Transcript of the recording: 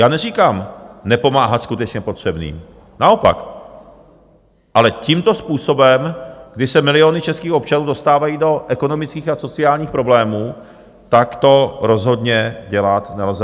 Já neříkám nepomáhat skutečně potřebným, naopak, ale tímto způsobem, kdy se miliony českých občanů dostávají do ekonomických a sociálních problémů, tak to rozhodně dělat nelze.